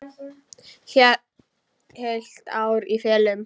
Heilt ár í felum.